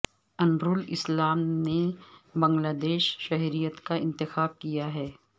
انوارالاسلام نے بنگلہ دیشی شہریت کا انتخاب کیا ہے